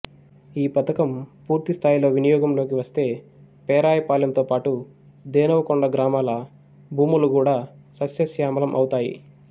ఈ పథకం పూర్తి స్థాయిలో వినియోగంలోకి వస్తే పేరాయపాలెంతో పాటు ధేనువకొండ గ్రామాల భూములు గూడా సస్యశ్యామలం అవుతాయి